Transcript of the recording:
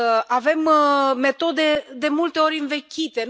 Avem metode de multe ori învechite.